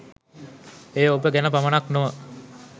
එය ඔබ ගැන පමණක් නොව